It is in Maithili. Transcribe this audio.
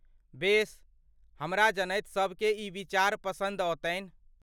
बेस, हमरा जनैत सभके ई विचार पसन्द औतन्हि।